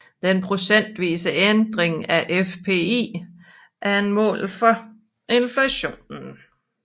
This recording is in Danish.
Den procentvise ændring af FPI er et mål for inflationen